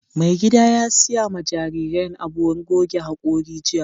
Mai gida ya siya ma jarirain abun goge haƙori jiya.